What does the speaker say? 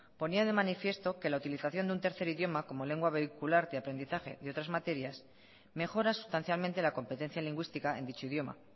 ponía de manifiesto que la utilización de un tercer idioma como lengua vehicular de aprendizaje de otras materias mejora sustancialmente la competencia lingüística en dicho idioma